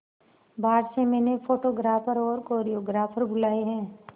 बाहर से मैंने फोटोग्राफर और कोरियोग्राफर बुलाये है